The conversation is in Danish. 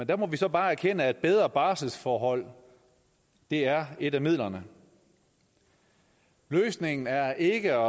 der må vi så bare erkende at bedre barselsforhold er et af midlerne løsningen er ikke